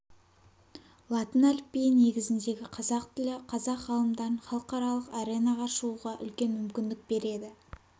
латын әліпбиі негізіндегі қазақ тілі қазақ ғалымдарын халықаралық арнеға шығуға үлкен мүмкіндік береді